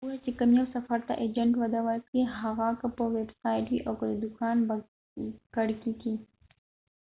وګوره چې کوم یو سفر ته ایجنټ وده ورکوي هغه که په ويب سايټ وي او که د دوکان به کړکي کې